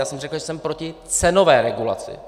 Já jsem řekl, že jsem proti cenové regulaci.